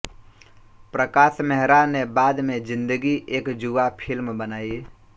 प्रकाश मेहरा ने बाद में जिंदगी एक जुआ फ़िल्म बनाई